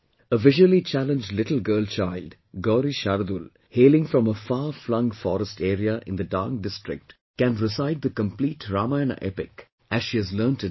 A visually challenged little girl child Gauri Shardul, hailing from far flung forest area in the Dang District, can recite the complete Ramayana epic as she has learnt it by heart